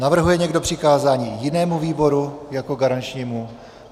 Navrhuje někdo přikázání jinému výboru jako garančnímu?